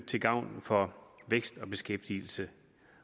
til gavn for vækst og beskæftigelse